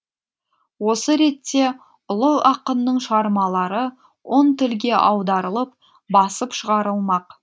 осы ретте ұлы ақынның шығармалары он тілге аударылып басып шығарылмақ